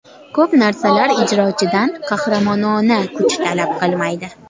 Ko‘p narsalar ijrochidan qahramonona kuch talab qilmaydi.